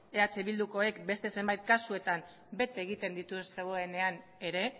eh bildukoek beste zenbait kasuetan bete egiten dituzuenean ere